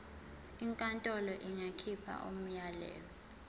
inkantolo ingakhipha umyalelo